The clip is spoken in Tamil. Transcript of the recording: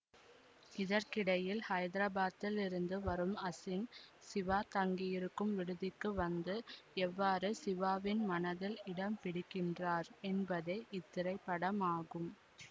இதற்கிடையில் ஹைதராபாத்தில் இருந்து வரும் அசின் சிவா தங்கியிருக்கும் விடுதிக்கு வந்து எவ்வாறு சிவாவின் மனதில் இடம் பிடிக்கின்றார் என்பதே இத்திரைப்படமாகும்